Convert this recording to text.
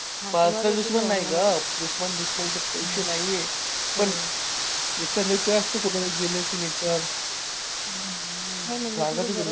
personal नाही गं फक्त विषय नाहीये पण एखाद्याचं असतं कुठे gamer nature